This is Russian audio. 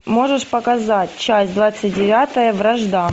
можешь показать часть двадцать девятая вражда